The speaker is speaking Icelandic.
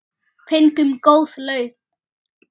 Fengum góð laun.